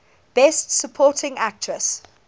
best supporting actress